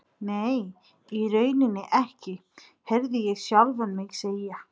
Nei, í rauninni ekki, heyrði ég sjálfan mig segja.